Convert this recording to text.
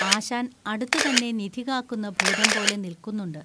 ആശാൻ അടുത്തുതന്നെ നിധി കാക്കുന്ന ഭൂതംപോലെ നിൽക്കുന്നുണ്ട്